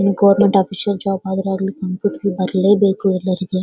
ಇನ್ನು government official job ಆದ್ರೂ ಆಗ್ಲಿ ಕಂಪ್ಯೂಟರ್ ಬರ್ಲೇಬೇಕು ಎಲ್ಲರಿಗೆ.